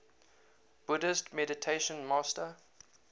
buddhist meditation master